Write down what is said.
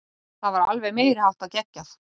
Það var alveg meiriháttar geggjað.